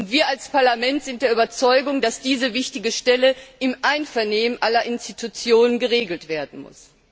Wir als Parlament sind der Überzeugung, dass diese wichtige Stelle im Einvernehmen aller Institutionen geregelt werden muss.